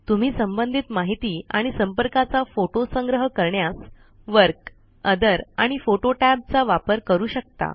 तुम्ही संबंधित माहित आणि संपर्काचा फोटो संग्रह करण्यास वर्क ओथर आणि फोटो tab चा वापर करू शकता